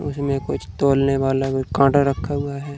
उसमें कुछ तोलने वाला कोई कांटा रखा हुआ है।